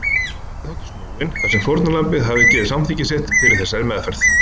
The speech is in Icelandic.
Réttarhöldin þóttu því snúin þar sem fórnarlambið hafði gefið samþykki sitt fyrir þessari meðferð.